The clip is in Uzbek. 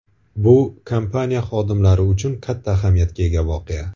Bu kompaniya xodimlari uchun katta ahamiyatga ega voqea.